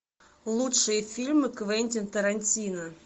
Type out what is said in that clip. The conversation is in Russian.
лучшие фильмы квентин тарантино